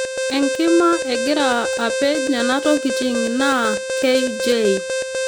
Enkima egira apej Nena tokitin naa kJ.